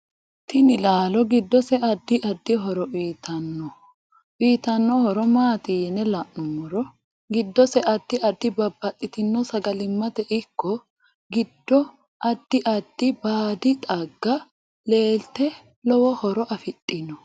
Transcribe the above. Tini laalo giddose addi addi horo uyiitanno uyiitanno horo maati yine la'numoro giddose addi addi babbaxitinno sagalimmate ikko giddoae addi addi baadi xagga leelate lowo horo afidhinno